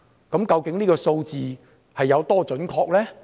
這個數字究竟有多準確呢？